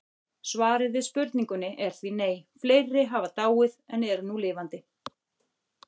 Svarið við spurningunni er því nei, fleiri hafa dáið en eru nú lifandi